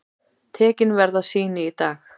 Tekin verða sýni í dag.